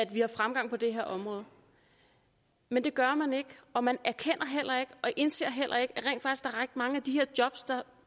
vi har fremgang på det her område men det gør man ikke og man erkender heller ikke og indser heller ikke er ret mange af de her jobs der